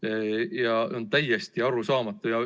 See, mis praegu toimub, on täiesti arusaamatu.